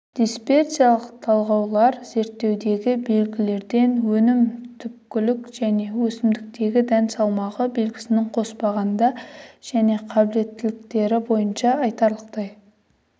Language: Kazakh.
дисперсиялық талдаулар зерттеудегі белгілерден өнімді түптілік және өсімдіктегі дән салмағы белгісін қоспағанда және қабілеттіліктері бойынша айтарлықтай